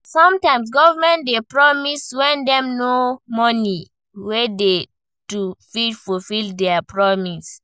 Sometimes government dey promise when dem no know money wey dey to fit fulfill their promise